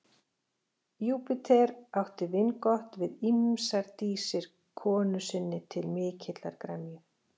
Júpíter átti vingott við ýmsar dísir konu sinni til mikillar gremju.